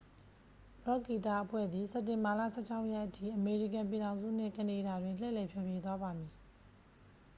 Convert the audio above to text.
ရော့ခ်ဂီတအဖွဲ့သည် စက်တင်ဘာလ 16 ရက်အထိ အမေရိကန်ပြည်ထောင်စုနှင့် ကနေဒါတွင် လှည့်လည်ဖျော်ဖြေသွားပါမည်